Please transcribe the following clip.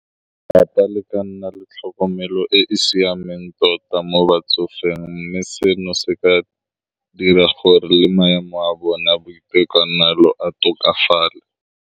Ke rata le ka nna le tlhokomelo e e siameng tota mo batsofeng, mme seno se ka dira gore le maemo a bona boitekanelo a tokafale.